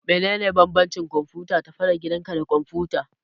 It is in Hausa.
Menene bambancin kwamfutar tafi-da-gidanka da kwamfuta?